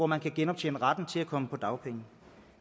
man kan genoptjene retten til at komme på dagpenge